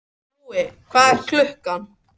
Búi, hvað er klukkan?